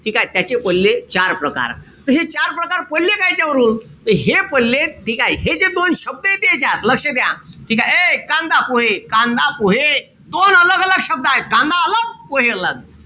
ठीकेय? त्याचे पडले चार प्रकार. त हे चार प्रकार पडले कायचे याच्यावरून, त हे पडले ठीकेय? हे जे दोन शब्दय यांच्यात. लक्ष द्या. ठीकेय? ए कांदा-पोहे, कांदा-पोहे दोन शब्द आहेत. कांदा पोहे .